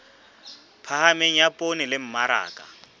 phahameng ya poone le mmaraka